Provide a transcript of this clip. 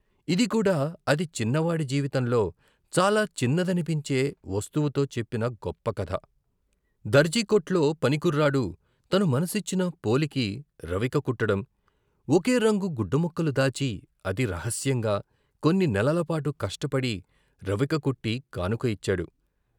ఇది కూడా అతి చిన్నవాడి జీవితంతో, చాలా చిన్నదనిపించే వస్తువుతో చెప్పిన గొప్ప కథ. దర్జీకొట్లో పని కుర్రాడు, తను మనసిచ్చిన పోలికి రవిక కుట్టడం, ఒకే రంగు గుడ్డ ముక్కలు దాచి, అతి రహస్యంగా, కొన్ని నెలలపాటు కష్టపడి రవిక కుట్టి కానుక యిచ్చాడు.